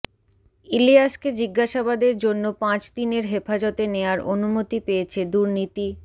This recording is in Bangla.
ইলিয়াসকে জিজ্ঞাসাবাদের জন্য পাঁচদিনের হেফাজতে নেয়ার অনুমতি পেয়েছে দুর্নীতি